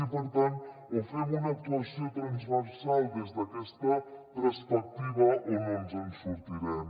i per tant o fem una actuació transversal des d’aquesta perspectiva o no ens en sortirem